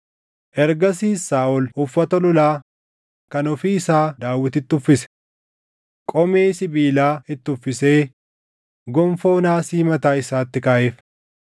Ergasiis Saaʼol uffata lolaa kan ofii isaa Daawititti uffise. Qomee sibiilaa itti uffisee gonfoo naasii mataa isaatti kaaʼeef.